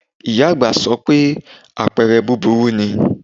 Ìyá àgbà sọ pé àpẹrẹ búburú ni